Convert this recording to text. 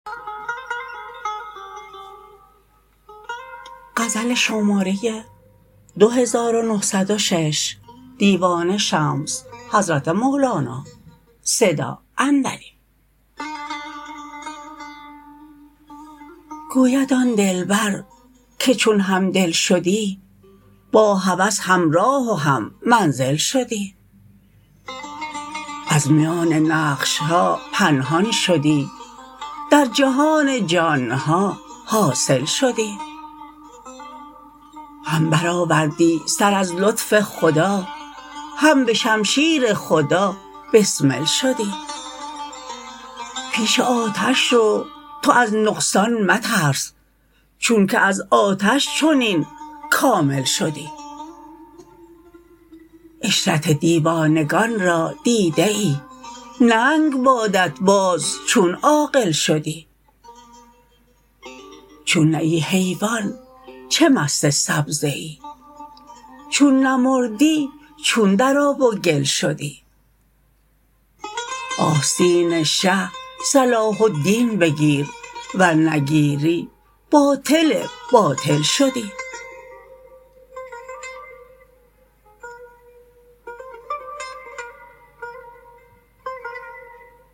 گوید آن دلبر که چون همدل شدی با هوس همراه و هم منزل شدی از میان نقش ها پنهان شدی در جهان جان ها حاصل شدی هم برآوردی سر از لطف خدا هم به شمشیر خدا بسمل شدی پیش آتش رو تو از نقصان مترس چونک از آتش چنین کامل شدی عشرت دیوانگان را دیده ای ننگ بادت باز چون عاقل شدی چون نه ای حیوان چه مست سبزه ای چون نمردی چون در آب و گل شدی آستین شه صلاح الدین بگیر ور نگیری باطل باطل شدی